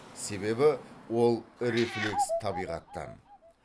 себебі ол рефлекс табиғаттан